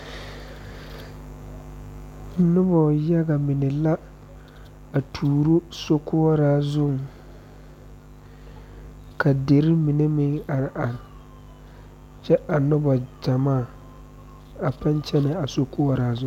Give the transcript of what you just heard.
Noba yaga mine la a tuuro sokɔɔra zuŋ, ka dire mine meŋ are are kyɛ a noba gyamaa a paa kyɛne a sokoɔraa zu.